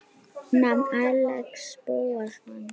Nafn: Axel Bóasson